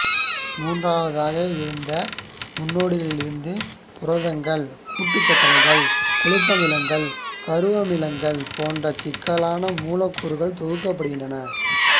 மூன்றாவதாக இந்த முன்னோடிகளிலிருந்து புரதங்கள் கூட்டுச்சர்க்கரைகள் கொழுமியங்கள் கருவமிலங்கள் போன்ற சிக்கலான மூலக்கூறுகள் தொகுக்கப்படுகின்றன